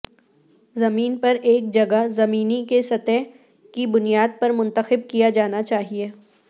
زمین پر ایک جگہ زمینی کی سطح کی بنیاد پر منتخب کیا جانا چاہئے